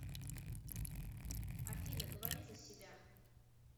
афина говори за себя